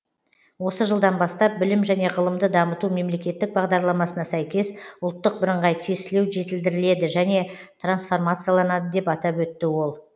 осы жылдан бастап білім және ғылымды дамыту мемлекеттік бағдарламасына сәйкес ұлттық бірыңғай тестілеу жетілдіріледі және трансформацияланады деп атап өтті ол